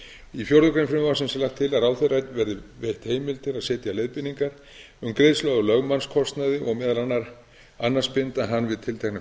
í fjórða grein frumvarpsins er lagt til að ráðherra verði veitt heimild til að setja leiðbeiningar um greiðslu á lögmannskostnaði og meðal annars binda hana við við tiltekna